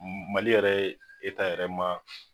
Mali yɛrɛ yɛrɛ ma